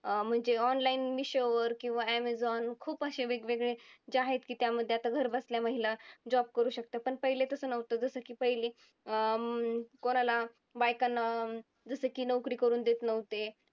अं म्हणजे online किंवा amazon खूप अशे वेगवेगळे जे आहेत की त्यामध्ये आता घरबसल्या महिला job करू शकतात. पण पहिले तसं नव्हतं जसं की पहिले अं कोणाला बायकांना जसं की नोकरी करून देत नव्हते.